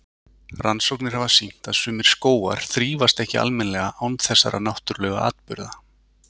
Rannsóknir hafa sýnt að sumir skógar þrífast ekki almennilega án þessara náttúrlegu atburða.